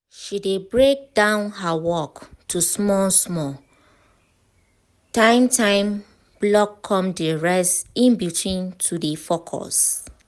she dey break down her work to small small time time block come dey rest in between to dey focus